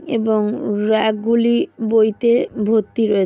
এবং র‍্যাক গুলি বইতে ভর্তি রয়ে--